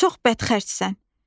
Çox bədxərchsən.